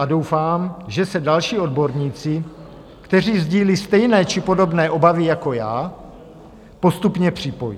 A doufám, že se další odborníci, kteří sdílejí stejné či podobné obavy jako já, postupně připojí.